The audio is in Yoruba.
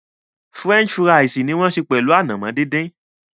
French fíra̩ísí ni wọn ń sẹ pẹlu ànàmọ̀ dídìn.